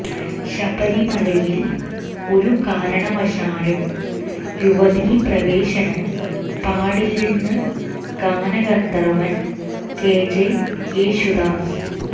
ശബരിമലയിൽ ഒരു കാരണവശാലും യുവതീ പ്രവേശനം പാടില്ലെന്ന് ഗാനഗന്ധർവ്വൻ കെ ജെ യേശുദാസ്